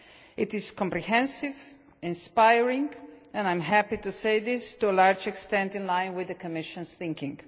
It is comprehensive, inspiring and I am happy to say to a large extent in line with the Commission's thinking.